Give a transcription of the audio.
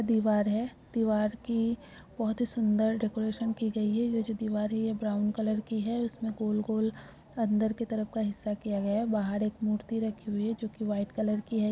दीवार है दीवार की बहुत ही सुंदर डेकोरेशन की गई है ये जो दीवार है ये ब्राउन कलर की है उसमें गोल-गोल अंदर की तरफ का हिस्सा किया गया है बाहर एक मूर्ति रखी हुई है जो की वाइट कलर की है।